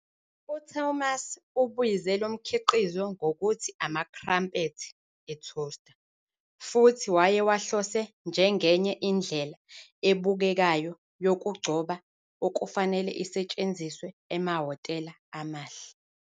UThomas ubize lo mkhiqizo ngokuthi "ama-crumpets e-toaster", futhi wayewahlose "njengenye indlela ebukekayo yokugcoba 'okufanele isetshenziswe emahhotela amahle.